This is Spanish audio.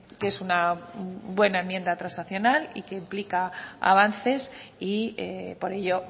que es una buena enmienda transaccional y que implica avances y por ello